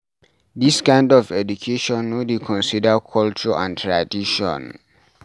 This kind of education no dey consider culture and tradition